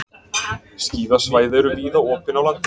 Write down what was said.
Skíðasvæði eru víða opin á landinu